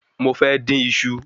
Mo fẹ́ dín iṣu